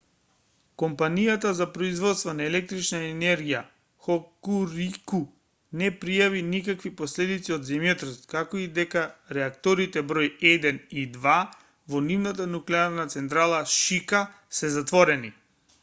компанијата за производство на електрична енергија хокурику не пријави никакви последици од земјотресот како и дека реакторите број 1 и 2 во нивната нуклеарна централа шика се затворени